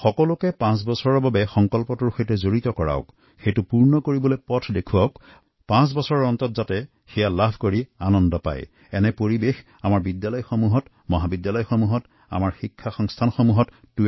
প্ৰত্যেকেই পাঁচ বছৰৰ বাবে এনে সংকল্প লওঁক সেই সংকল্প সিদ্ধ কৰিবলৈ পাঁচ বছৰৰ বাবে পৰিকল্পনা প্ৰস্তুত কৰক পাঁচ বছৰ ধৰি পৰিশ্ৰম কৰক আৰু জীৱনত সাফল্যৰ সোৱাদ পাব পাৰেএনে এক ভাৱনা আমাৰ স্কুল কলেজ শিক্ষানুষ্ঠানে লব পাৰে